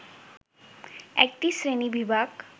একটি শ্রেণীবিভাগ